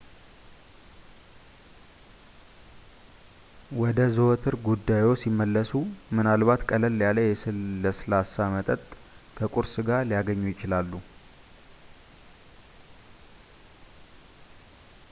ወደ ዘወትር ጉዳይዎ ሲመለሱ ምናልባት ቀለል ያለ የለስላሳ መጠጥ ከቁርስ ጋር ሊያገኙ ይችላሉ